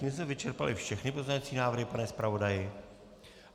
Tím jsme vyčerpali všechny pozměňovací návrhy, pane zpravodaji?